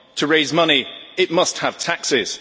To raise money, it must have taxes.